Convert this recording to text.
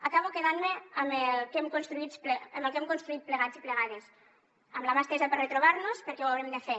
acabo quedant me amb el que hem construït plegats i plegades amb la mà estesa per retrobar nos perquè ho haurem de fer